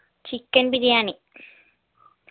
chicken biryani